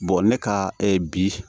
ne ka bi